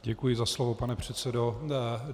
Děkuji za slovo, pane předsedo.